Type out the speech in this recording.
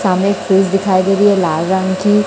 सामने फ्यूज़ दिखाई दे रही है लाल रंग की--